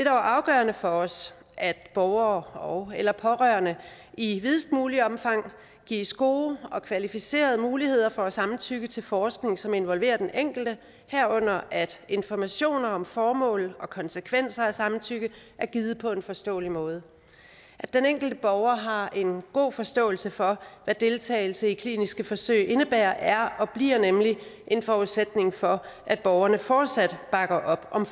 afgørende for os at borgere ogeller pårørende i videst muligt omfang gives gode og kvalificerede muligheder for at give samtykke til forskning som involverer den enkelte herunder at informationerne om formålet og konsekvenserne af samtykket er givet på en forståelig måde at den enkelte borger har en god forståelse for hvad deltagelse i kliniske forsøg indebærer er og bliver nemlig en forudsætning for at borgerne fortsat bakker op om